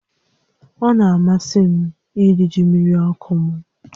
Ọ na-amasị m iri ji mmiri ọkụ m